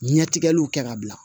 Ɲɛtigɛliw kɛ ka bila